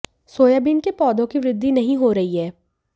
soybean के पौधों की वृद्धि नहीं हो रही है